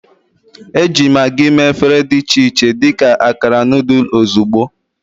Eji Maggi mee efere dị iche iche dị ka akara noodle ozugbo.